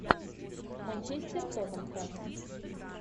манчестер тоттенхэм